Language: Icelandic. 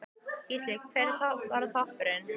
Gísli: Hver var toppurinn?